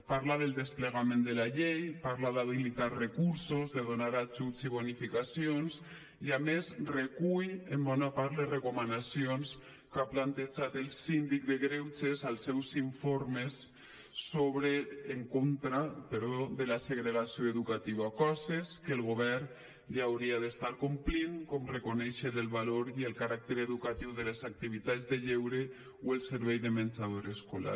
parla del desplegament de la llei parla d’habilitar recursos de donar ajuts i bonificacions i a més recull en bona part les recomanacions que ha plantejat el síndic de greuges als seus informes en contra de la segregació educativa coses que el govern ja hauria d’estar complint com reconèixer el valor i el caràcter educatiu de les activitats de lleure o el servei de menjador escolar